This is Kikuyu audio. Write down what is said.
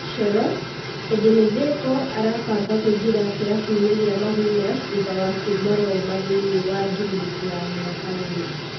(Coro) Edĩ nĩ Theko arabanga kũingĩ ra kĩ rabuinĩ gĩ a Magunas thutha wa kuma Roma thĩ iniĩ wa ngirimiti ya mĩ aka ĩ rĩ .